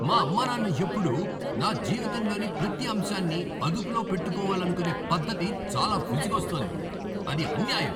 మా అమ్మానాన్న ఎప్పుడూ నా జీవితంలోని ప్రతి అంశాన్ని అదుపులో పెట్టుకోవాలనుకునే పద్ధతి చాలా విసుగొస్తోంది. అది అన్యాయం.